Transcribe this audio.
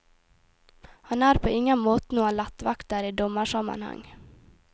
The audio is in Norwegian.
Han er på ingen måte noen lettvekter i dommersammenheng.